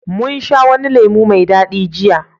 mun sha wani lemo mai dadi jiya